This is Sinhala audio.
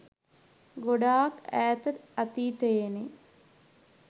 ගොඩාක් ඈත අතීතයේනේ.